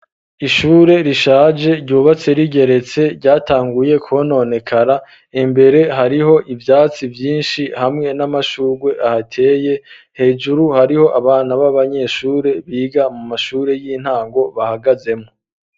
Ishure rishaje ryubatse rigeretse ryatanguye kononekara embere hariho ivyatsi vyinshi hamwe n'amashurwe ahateye hejuru hariho abana b'abanyeshure biga mu mashure y'intango bahagazemwo.